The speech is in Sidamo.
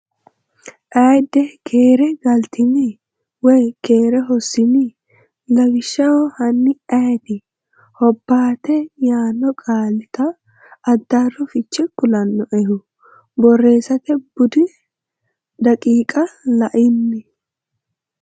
ayide Keere galtini? woy keere hossini ? Lawishsha Hanni ayeeti, ‘Hobbaate’ yaanno qaalita addaarro fiche kulannoehu? Borreessate Bude daqiiqa La’ini?